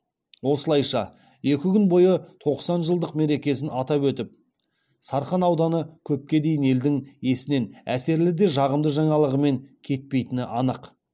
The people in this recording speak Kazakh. осылайша екі күн бойы тоқсан жылдық мерекесін атап өтіп сарқан ауданы көпке дейін елдің есінен әсерлі де жағымды жаңалығымен кетпейтіні анық